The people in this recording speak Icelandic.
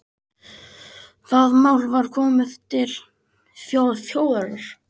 Það mál var komið til þjóðarinnar